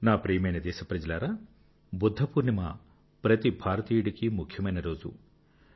నా ప్రియమైన దేశప్రజలారా బుద్ధపూర్ణిమ ప్రతి భారతీయుడికీ ముఖ్యమైన రోజు